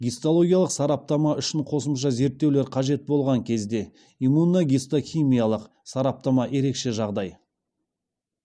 гистологиялық сараптама үшін қосымша зерттеулер қажет болған кезде иммуногистохимиялық сараптама ерекше жағдай